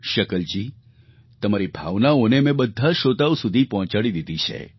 શકલજી તમારી ભાવનાઓને મેં બધા શ્રોતાઓ સુધી પહોંચાડી દીધી છે